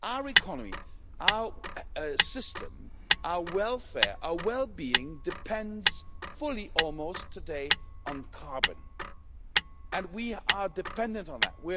Our economy, our system, our welfare, our well-being depends almost fully today on carbon and we are dependent on that.